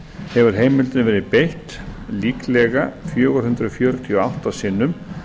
hefur heimildinni verið beitt líklega fjögur hundruð fjörutíu og átta sinnum